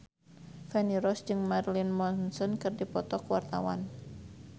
Feni Rose jeung Marilyn Manson keur dipoto ku wartawan